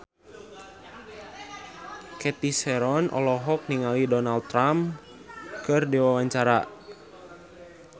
Cathy Sharon olohok ningali Donald Trump keur diwawancara